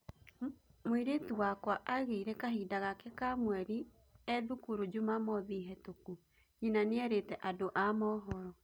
"Mũirĩtu wakwa ageire kahinda gake ka mweri ĩthukuru jumamothi hetũkũ", Nyina nĩerite andũ a mohoro